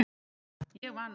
Ég vann!